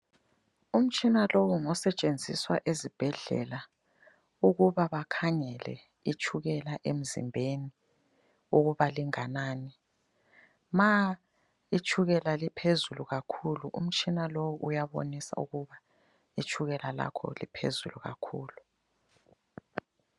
Umtshina lowu ngosetshenziswa ezibhedlela ukuba bakhangele itshukela emzimbeni ukuba linganani .Ma itshukela liphezulu kakhulu, umtshina lowu uyabonisa ukuba itshukela lakho liphezulu kakhulu.